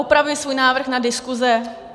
Opravuji svůj návrh na diskuse.